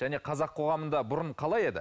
жәнеқазақ қоғамында бұрын қалай еді